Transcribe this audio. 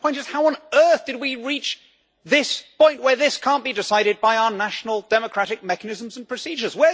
The point is, how on earth did we reach this point where this cannot be decided by our national democratic mechanisms and procedures?